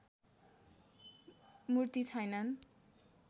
मूर्ति छैनन्